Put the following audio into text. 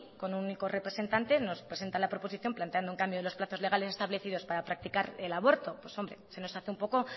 con un único representante nos presenta la proposición planteando un cambio de los plazos legales establecidos para practicar el aborto pues hombre se nos hace un poco